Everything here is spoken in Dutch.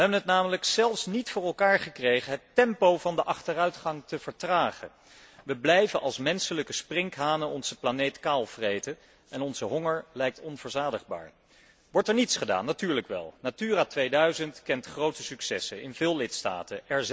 Wij hebben het namelijk zelfs niet voor elkaar gekregen het tempo van de achteruitgang te vertragen. Wij blijven als menselijke sprinkhanen onze planeet kaalvreten en onze honger lijkt onverzadigbaar. Wordt er niets gedaan? Natuurlijk wel. Natura 2000 kent grote successen in veel lidstaten.